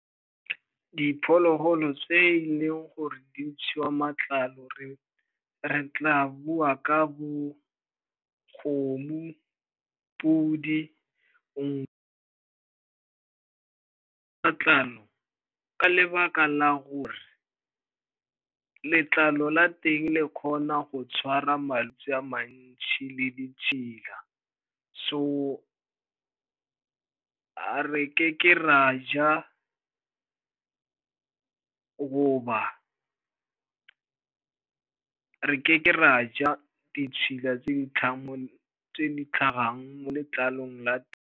Diphologolo tse e leng gore di ntshiwa matlalo, re tla bua ka bo kgomo, podi, ka lebaka la gore letlalo la teng le kgona go tshwara malwetse a mantši le ditšhila. So ga re ke ke ra ja goba re ke ke ra ja ditšhila tse di tlhagang mo letlalong la.